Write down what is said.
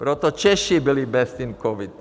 Proto Češi byli best in covid.